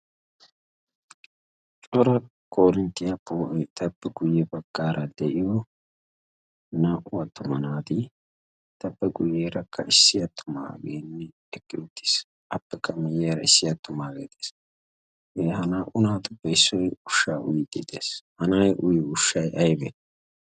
cora korinttiyaa poo'i tappe guyye baggaara de'iyo naa'u attuma naati tappe guyyeerakka issi attumaageenne ekki uttiis appekka miyyayara issi attumaagee xeesha naa'u naatuppe issoy ushsha woxxi dees hanay uyyo ushshay aybee?